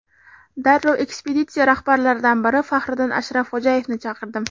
Darrov ekspeditsiya rahbarlaridan biri Faxriddin Ashrafxo‘jayevni chaqirdim.